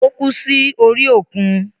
Ó kú sí orí òkun.